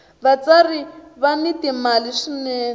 vatsari va ni mali swinene